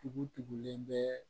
Tugu tugulen bɛ